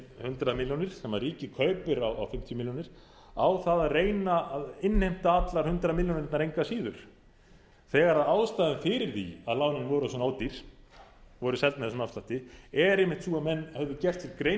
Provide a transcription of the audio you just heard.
hundrað milljónir sem ríkið kaupir á fimmtíu milljónir á það að reyna að innheimta allar hundrað milljónirnar engu að síður þegar ástæðan er fyrir því að lánin voru svona ódýr og voru seld með þessum afslætti er einmitt sú að menn höfðu gert sér grein